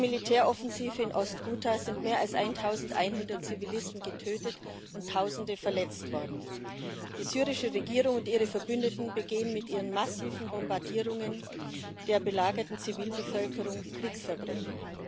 Durch die Militäroffensive in Ost Ghuta sind mehr als 1200 Zivilisten getötet und Tausende verletzt worden. Die syrische Regierung und ihre Verbündeten begehen mit ihren massiven Bombardierungen der belagerten Zivilbevölkerung Kriegsverbrechen.